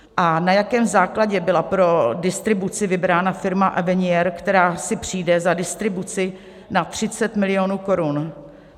A na jakém základě byla pro distribuci vybrána firma Avenier, která si přijde za distribuci na 30 milionů korun?